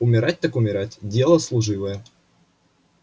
умирать так умирать дело служивое